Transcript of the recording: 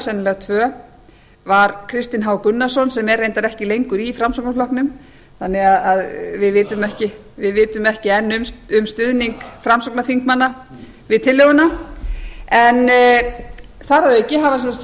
sennilega tvö var kristinn h gunnarsson sem er reyndar ekki lengur í framsóknarflokknum þannig að við vitum ekki enn um stuðning framsóknarþingmanna við tillöguna en þar að auki